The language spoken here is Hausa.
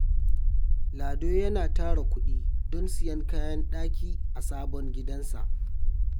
Lado yana tara kudi don siyan kayan daki ga sabon gidansa.